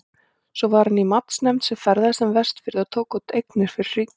Svo var hann í matsnefnd sem ferðaðist um Vestfirði og tók út eignir fyrir ríkið.